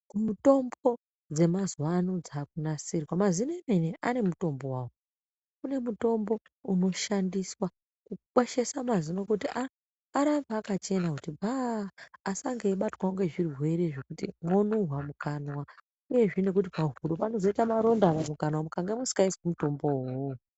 Kumutombo dzemazuwa ano dzakunasirwa mazino emene ane mutombo wawo kune mutombo unoshandiswa kukwesha mazino kuti aa arambe akachena kuti bhaaa asange eibatwa nezvirwere zvekuti mwonuhwa mukanwa uyezve nekuti pahuro panozoita maronda kana mukange musikaiswi mutombowo uwowo.